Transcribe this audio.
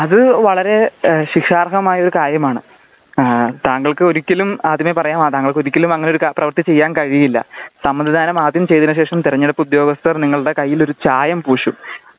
അത് വളരെ ശിക്ഷാർഹമായ ഒരു കാര്യമാണ് താങ്കൾക്ക് ഒരിക്കലും അതിനെ പറയാ താങ്കൾക്ക് ഒരിക്കലുംഅങ്ങനെ ഒരു പ്രവൃത്തി ചെയ്യാന് കഴിയില്ല സമ്മതിദാനം ആദ്യം ചെയ്തതിനു ശേഷം തിരഞ്ഞെടുപ്പ് ഉദ്യോഗസ്ഥർ നിങ്ങളുടെ കയ്യില് ഒരു ചായം പൂശും